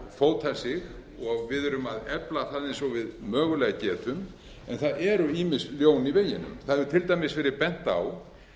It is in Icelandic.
fóta sig og við eða að efla það eins og við mögulega getum en það eru ýmis ljón í veginum það hefur til dæmis verið bent á